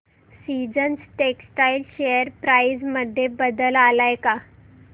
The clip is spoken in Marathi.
सीजन्स टेक्स्टटाइल शेअर प्राइस मध्ये बदल आलाय का